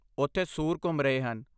ਉੱਥੇ ਸੂਰ ਘੁੰਮ ਰਹੇ ਹਨ।